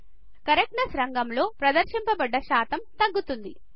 correctness రంగం లో ప్రదర్శింపబడ్డ శాతం తగ్గుతుంది